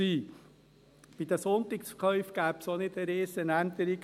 Bei den Sonntagsverkäufen gäbe es auch keine Riesenänderung;